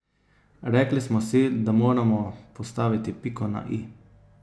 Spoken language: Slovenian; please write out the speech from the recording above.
Rekli smo si, da moramo postaviti piko na i.